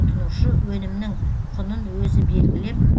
тұтынушы өнімнің құнын өзі белгілеп